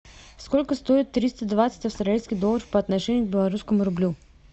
сколько стоит триста двадцать австралийских долларов по отношению к белорусскому рублю